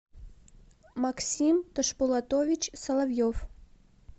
максим тошпулотович соловьев